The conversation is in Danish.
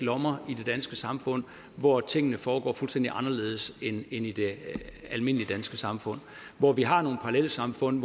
lommer i det danske samfund hvor tingene foregår fuldstændig anderledes end i det almindelige danske samfund hvor vi har nogle parallelsamfund